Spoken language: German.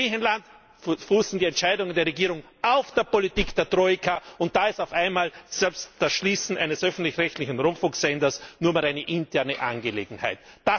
Bei Griechenland fußen die Entscheidungen der Regierung auf der Politik der Troika, und da ist auf einmal selbst das Schließen eines öffentlich rechtlichen Rundfunksenders nur mehr eine interne Angelegenheit.